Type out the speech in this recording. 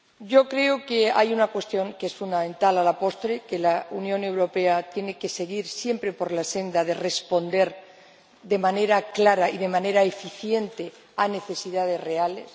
Yo creo que hay una cuestión, que es fundamental a la postre que la Unión Europea tiene que seguir siempre por la senda de responder de manera clara y de manera eficiente a necesidades reales.